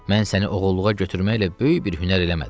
Mən səni oğulluğa götürməklə böyük bir hünər eləmədim.